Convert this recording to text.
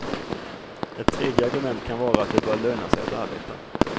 Ett tredje argument kan vara att det bör löna sig att arbeta.